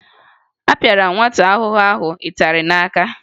Apịara m nwata akwụkwọ ahụ ịtarị n'aka